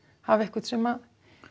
hafa einhvern sem